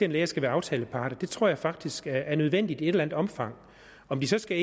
læger skal være aftaleparter det tror jeg faktisk er nødvendigt i et eller andet omfang om det så skal